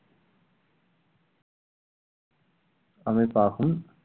அமைப்பாகும்